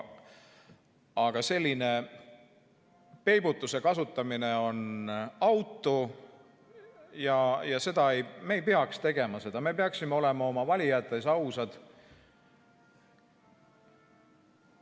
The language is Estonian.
Aga selline peibutuse kasutamine on autu ja me ei peaks seda tegema, me peaksime olema oma valijate ees ausad ...